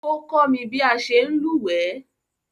O komi bi a se n lúwẹ̀ẹ́